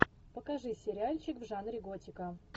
покажи сериальчик в жанре готика